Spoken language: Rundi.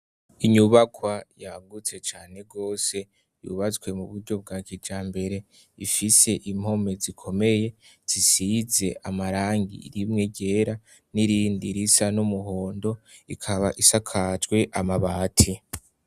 Inyubakwa yagutse cane rwose yubazwe mu buryo bwa kija mbere ifise impome zikomeye zisize amarangi rimwe ryera n'irindi risa n'umuhondo ikaba isakajwe amabati.